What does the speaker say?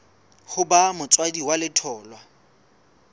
ho ba motswadi wa letholwa